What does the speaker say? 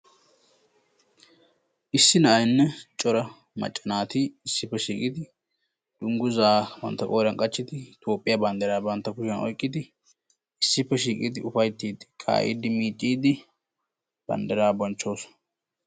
issi na'ayinne cora macca naati ississa shiiqidi dungguza bantta qooriyaan qachchidi Toophiyaa banddiraa bantta kushiyaan oyqqid isippe shiiqid ka'idi miiccide bettoosona.